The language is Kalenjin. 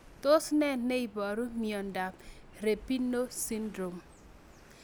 Tos nee neiparu miondop Robinow Syndrome